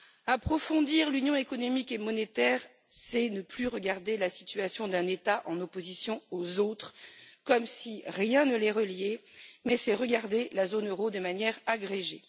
Approfondir l'Union économique et monétaire, c'est ne plus regarder la situation d'un État par opposition aux autres, comme si rien ne les reliait, mais c'est regarder la zone euro de manière agrégée.